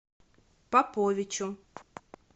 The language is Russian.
поповичу